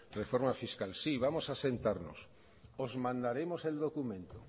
reforma fiscal sí vamos a sentarnos os mandaremos el documento